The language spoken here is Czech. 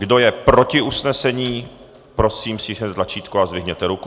Kdo je proti usnesení, prosím, stiskněte tlačítko a zvedněte ruku.